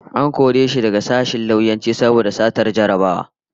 An kore shi daga sashen lauyanci saboda satar jarrabawa